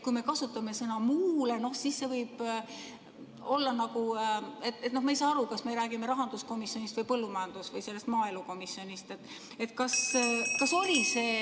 Kui me kasutame sõna "muule", siis ma ei saa aru, kas me räägime rahanduskomisjonist või maaelukomisjonist.